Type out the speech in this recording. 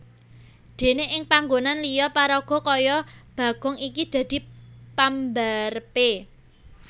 Déné ing panggonan liya paraga kaya Bagong iki dadi pambarepé